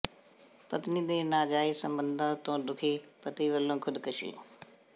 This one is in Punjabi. ਪਤਨੀ ਦੇ ਨਾਜਾਇਜ਼ ਸਬੰਧਾਂ ਤੋਂ ਦੁਖੀ ਪਤੀ ਵੱਲੋਂ ਖੁਦਕੁਸ਼ੀ